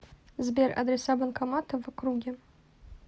сбер адреса банкоматов в округе